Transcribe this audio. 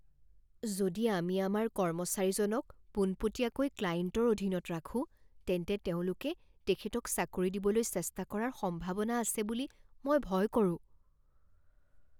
যদি আমি আমাৰ কৰ্মচাৰীজনক পোনপটীয়াকৈ ক্লায়েণ্টৰ অধীনত ৰাখোঁ তেন্তে তেওঁলোকে তেখেতক চাকৰি দিবলৈ চেষ্টা কৰাৰ সম্ভাৱনা আছে বুলি মই ভয় কৰোঁ।